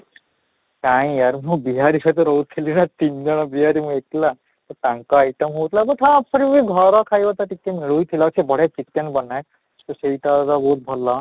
ନାଇଁ ମୁଁ ବିହାରୀ ସହିତ ରହୁଥିଲି ନା ତିନି ଜଣ ବିହାରୀ ମୁଁ ଏକଲା ତ ତାଙ୍କ item ହଉଥିଲା but ହଁ ଘର ଖାଇବା ତ ଟିକେ ମିଳୁ ହିଁ ଥିଲା ସେ ବଢିଆ chicken ବନାଏ ତ ସେଇଟା ଗା ବହୁତ ଭଲ ଅଃ